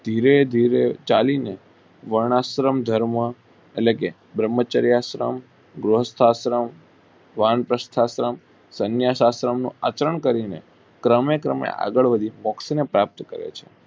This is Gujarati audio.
ધીરે ધીરે ચાલી ને વનસાન ધર્મ અને બ્રહ્મ ચરિયાસન ગૃહમ શાસ્ત્ર વાણી જન્મ શાસ્ત્ર નું આચારન કરી ને ક્રમે ક્રમે આગળ વાળીને મોક્ષ પ્રાપ્ત કરે છે.